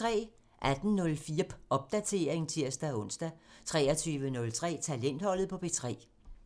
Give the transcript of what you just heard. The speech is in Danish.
18:04: Popdatering (tir-ons) 23:03: Talentholdet på P3 (tir)